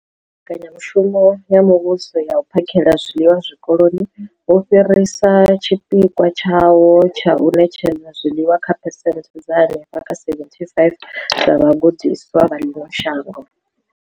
Mbekanya mushumo ya Muvhuso ya U phakhela zwiḽiwa Zwikoloni, wo fhirisa tshipikwa tshawo tsha u ṋetshedza zwiḽiwa kha phesenthe dza henefha kha 75 dza vhagudiswa vha ḽino shango.